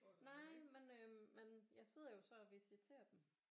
Nej men øh jeg sidder jo så og visiterer dem